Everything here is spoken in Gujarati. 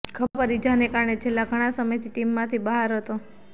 ખભા પર ઇજાને કારણે છેલ્લા ઘણા સમયથી ટીમમાંથી બહાર હતો